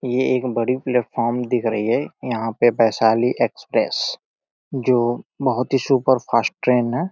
ये एक बड़ी प्लेटफार्म दिख रही है। यहाँ पे वैशाली एक्सप्रेस जो बहोत ही सुपर-फ़ास्ट ट्रेन है।